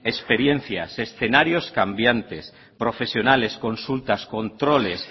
experiencias escenarios cambiantes profesionales consultas controles